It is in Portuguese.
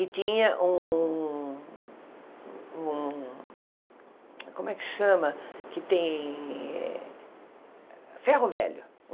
E tinha um um... Como é que chama? Que tem eh ferro velho